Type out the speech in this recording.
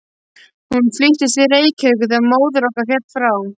Hún fluttist til Reykjavíkur þegar móðir okkar féll frá.